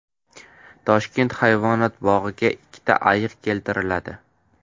Toshkent hayvonot bog‘iga ikkita ayiq keltiriladi.